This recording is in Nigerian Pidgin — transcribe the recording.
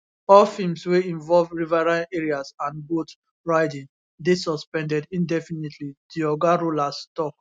all films wey involve riverine areas and boat riding dey suspended indefinitely di oga rollas tok